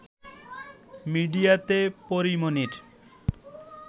মিডিয়াতে পরী মনির